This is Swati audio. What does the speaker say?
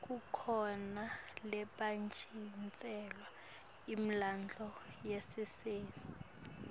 kukhona lobetjgntiselwa imidlalo yasesiteji